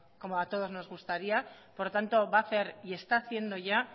como a todos nos gustaría por lo tanto va a hacer y está haciendo ya